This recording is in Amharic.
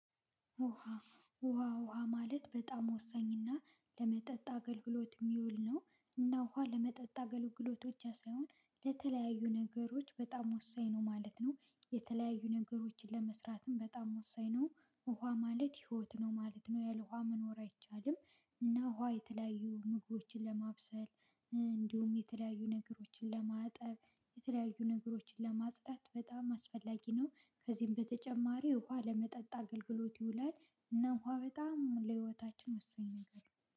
ውሃ ውሃ ውሃ ማለት በጣም ወሳኝና ለመጠጥ አገልግሎት የሚውል ነው። እና ውሃ ለመጠጥ አገልግሎት ብቻ ሳይሆን ለተለያዩ ነገሮች በጣም ወሳኝ ነው ማለት ነው። የተለያዩ ነገሮችን ለመስራትም በጣም ወሳኝ ነው። ውሃ ማለት ህይወት ነው ማለት ነው ያለ ውሃ መኖር አይቻልም። እና ውሃ የተለያዩ ምግቦችን ለማብሰል እንዲሁም የተለያዩ ነገሮችን ለማጠብ የተለያዩ ነገሮችን ለማጽዳት በጣም አስፈላጊ ነው። ከዚህም በተጨማሪ ውሃ ለመጠጥ አገልግሎት ይውላል። እና ውሃ በጣም ለህይወታችን ወሳኝ ነገር ነው